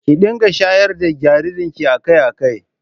Kin dinga shayar da jaririnki a kai a kai